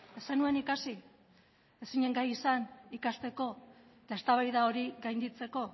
ez zenuen ikasi ez zinen gai izan ikasteko eta eztabaida hori gainditzeko